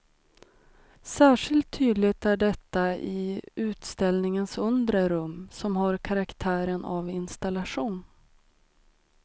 Särskilt tydligt är detta i utställningens undre rum, som har karaktären av installation.